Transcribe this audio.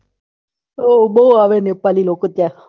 હા બૌ આવે નેપાળી લોકો ત્યાં હા